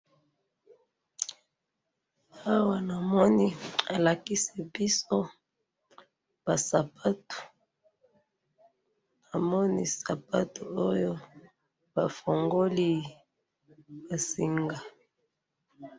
awa na moni bolakisi biso ba sapatu na moni sapatu oyo ba fungoli esenga